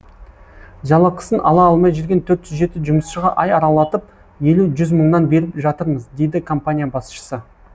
жалақысын ала алмай жүрген төрт жүз жеті жұмысшыға ай аралатып елу жүз мыңнан беріп жатырмыз дейді компания басшысы